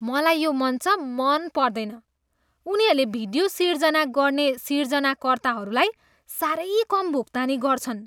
मलाई यो मञ्च मन पर्दैन। उनीहरूले भिडियो सिर्जना गर्ने सिर्जनाकर्ताहरूलाई साह्रै कम भुक्तानी गर्छन्।